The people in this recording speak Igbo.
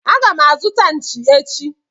Agam azuta Nchi echi.